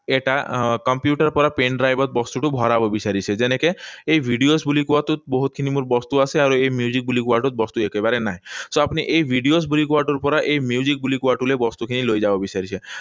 এটা আহ কম্পিউটাৰৰ পৰা pendrive ত বস্তুটো ভৰাব বিচাৰিছে। যেনেকৈ এই videos বুলি কোৱাটোত বহুতখিনি মোৰ বস্তু আছে আৰু এই music বুলি কোৱাটোত বস্তু একেবাৰে নাই। So, আপুনি এই videos বুলি কোৱাটোৰ পৰা এই music বুলি কোৱাটোলৈ এই বস্তুখিনি লৈ যাব বিচাৰিছে।